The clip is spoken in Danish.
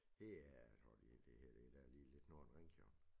Hee tror jeg det det hedder det det der lige lidt nord for Ringkøbing